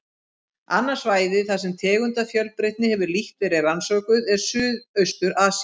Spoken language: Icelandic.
Annað svæði, þar sem tegundafjölbreytni hefur lítt verið rannsökuð, er Suðaustur-Asía.